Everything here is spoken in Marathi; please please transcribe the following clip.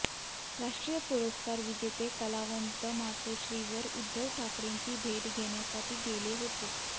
राष्ट्रीय पुरस्कार विजेचे कलावंत मातोश्रीवर उद्धव ठाकरेंची भेट घेण्यासाठी गेले होते